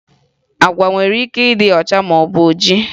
Agwa nwere ike ịdị ọcha maọbụ dị oji